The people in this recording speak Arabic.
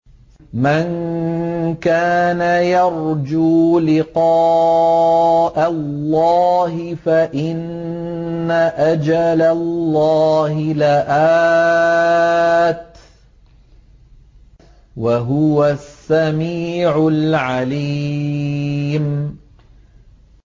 مَن كَانَ يَرْجُو لِقَاءَ اللَّهِ فَإِنَّ أَجَلَ اللَّهِ لَآتٍ ۚ وَهُوَ السَّمِيعُ الْعَلِيمُ